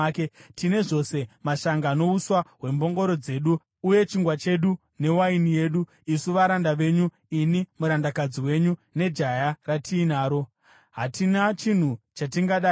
Tine zvose mashanga nouswa hwembongoro dzedu uye chingwa chedu newaini yedu, isu varanda venyu, ini, murandakadzi wenyu, nejaya ratinaro. Hatina chinhu chatingada hedu.”